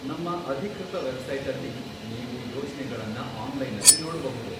ನಮ್ಮ ಅಧಿಕೃತ ವೆಬ್ಸೈಟಲ್ಲಿ ನೀವು ಯೋಜ್ನೆಗಳನ್ನ ಆನ್ಲೈನಲ್ಲಿ ನೋಡ್ಬಹುದು.